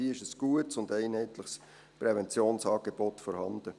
Hier ist ein gutes und einheitliches Präventionsangebot vorhanden.